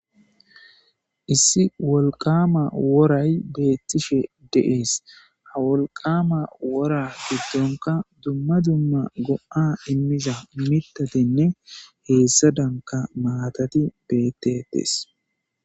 Issi wolqama woray beettishe deees ha wolqama wora giddonka dumma dumma go'a immizha mitatinne heessa danka maatati bettetees.